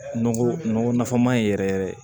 Nɔgɔ nɔgɔ nafama ye yɛrɛ yɛrɛ